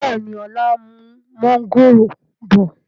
Bẹ́ẹ̀ni, ọlá ń mú mọ̀ngòrò bọ̀